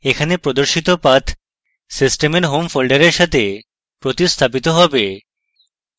এখানে প্রদর্শিত path সিস্টেমের home folder সাথে প্রতিস্থাপিত হবে